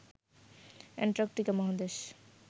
Antarctica মহাদেশ